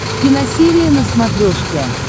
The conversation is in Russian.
киносерия на смотрешке